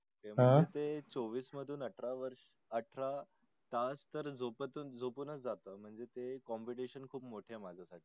तर ते चोवीस मधून अठरा वर्स अठरा तास झोपूनच जाता म्हणजे ते Competition खुप मोठे आहे माझा साठी.